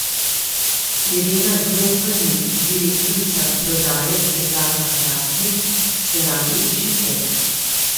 Irena Grofelnik, direktorica prodaje, Steklarna Hrastnik: "Se radi učite?